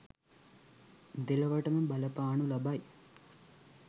දෙලොවටම බලපානු ලබයි.